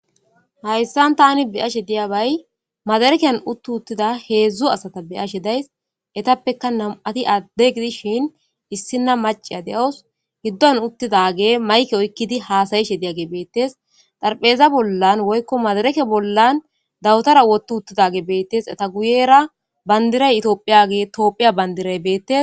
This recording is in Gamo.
Hayssan tani beyashe diya bay madarekeyan uttu uttida heedzdzu asata beyashe days etappeka nam7ati adde gidishin issina maciya de7os giddon uttidage mayke oykkidi haasayishe diyage beettes xarpheza bollan woykko madareke bollan dawutara wottu uttidage beettes eta guyera bandiray itoophiyage itoophiya bandiray beettes.